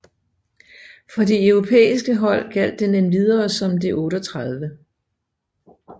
For de europæsike hold gjaldt den endvidere som det 38